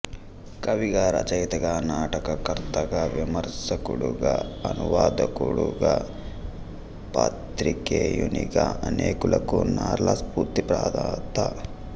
కవిగా రచయితగా నాటకకర్తగా విమర్శకుడుగా అనువాదకుడుగా పాత్రికేయునిగా అనేకులకు నార్ల స్ఫూర్తి ప్రదాత